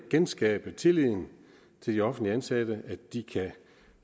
genskabe tilliden til de offentligt ansatte tilleden at de kan